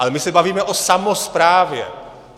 Ale my se bavíme o samosprávě.